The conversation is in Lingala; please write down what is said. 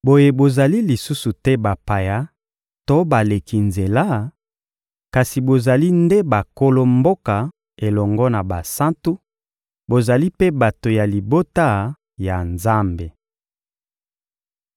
Boye bozali lisusu te bapaya to baleki nzela, kasi bozali nde bankolo mboka elongo na basantu, bozali mpe bato ya libota ya Nzambe.